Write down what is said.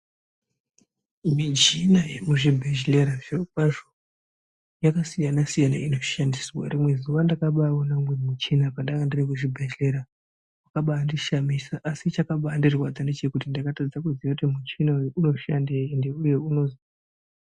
Michina ye mu zvibhedhlera zviro kwazvo yaka siyana siyana ino shandiswa rimwe zuva ndakabai ona umweni muchina pandanga ndiri ku zvibhedhleya waka baindi shamisa asi chakabai ndirwadza ngechekuti ndakatadza kuziya kuti muchina uyu uno shandei ende unozii.